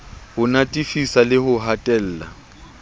ho natefisa le ho hatella